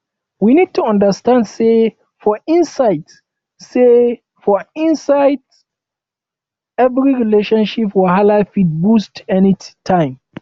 we need to understand sey for inside sey for inside every relationship wahala fit burst anytime